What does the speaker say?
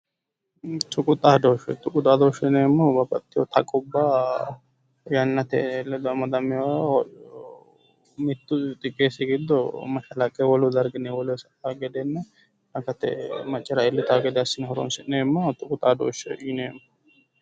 Tuqu xaadooshshe, tuqu xaadooshsheeti yineemmohu bababxxitewo taqubba yannate ledo amadamewoha mittu xiqqeessi giddo mashalaqqe wolu darginni wolewa sa"a gedenna akate manchu maccara iillitawo gede assine horonsi'neemmoha tuqu xaadooshshe yineemmo.